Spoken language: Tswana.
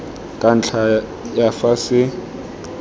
ka ntlha ya fa se